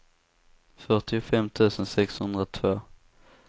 fyrtiofem tusen sexhundratvå